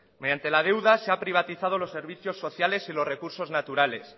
mediante la deuda se ha privatizado los servicios sociales y los recursos naturales